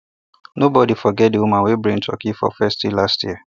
nobody forget the woman wey bring turkey for feast last year